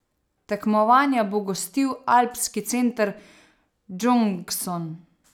Tekmovanja bo gostil alpski center Džongson.